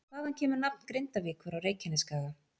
Hvaðan kemur nafn Grindavíkur á Reykjanesskaga?